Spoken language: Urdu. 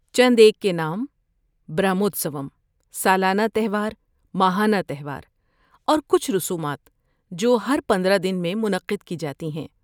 چند ایک کے نام برہموتسوم، سالانہ تہوار، ماہانہ تہوار اور کچھ رسومات جو ہر پندرہ دن میں منعقد کی جاتی ہیں